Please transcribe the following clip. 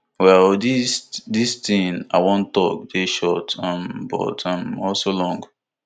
well dis dis thing i wan tok dey short um but um also long